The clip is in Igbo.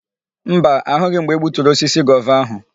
Mba, ahụghị m mgbe egbuturu osisi gova áhụ̀.